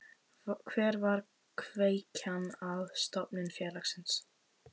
Hver var kveikjan að stofnun félagsins?